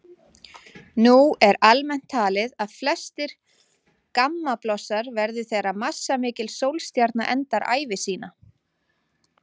Nú er almennt talið að flestir gammablossar verði þegar massamikil sólstjarna endar ævi sína.